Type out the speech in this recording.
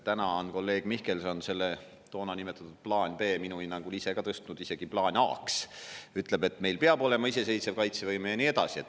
Täna on kolleeg Mihkelson selle toona nimetatud plaan B minu hinnangul ise tõstnud isegi plaaniks A. Ütleb, et meil peab olema iseseisev kaitsevõime ja nii edasi.